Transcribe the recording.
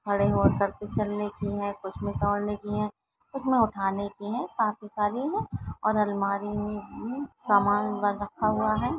खड़े हो कर के चलने के है कुछ में दौड़ने की है कुछमे उठाने की है काफी सारी है और अलमारी में भी सामान रखा हुआ है।